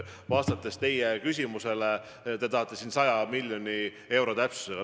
Te tahtsite teada 100 miljoni euro täpsusega.